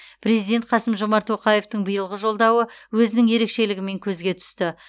президент қасым жомарт тоқаевтың биылғы жолдауы өзінің ерекшелігімен көзге түсті